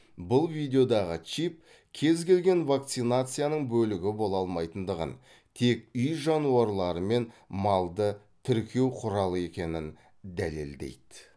бұл видеодағы чип кез келген вакцинацияның бөлігі бола алмайтындығын тек үй жануарлары мен малды тіркеу құралы екенін дәлелдейді